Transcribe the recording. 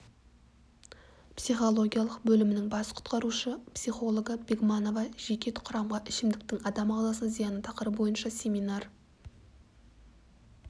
психологиялық бөлімінің бас құтқарушы психологы бегманова жеке құрамға ішімдіктің адам ағзасына зияны тақырыбы бойынша семинар